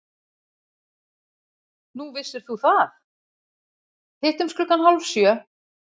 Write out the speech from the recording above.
Hittumst klukkan hálf sjö.